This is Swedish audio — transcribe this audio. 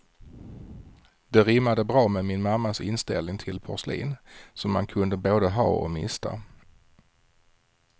Det rimmade bra med min mammas inställning till porslin, som man kunde både ha och mista.